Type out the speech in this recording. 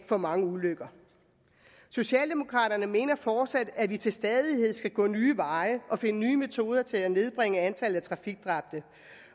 for mange ulykker socialdemokraterne mener fortsat at vi til stadighed skal gå nye veje og finde nye metoder til at nedbringe antallet af trafikdræbte